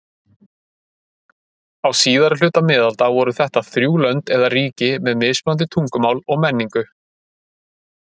Á síðari hluta miðalda voru þetta þrjú lönd eða ríki með mismunandi tungumál og menningu.